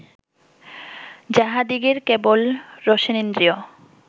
যাঁহাদিগের কেবল রসনেন্দ্রিয়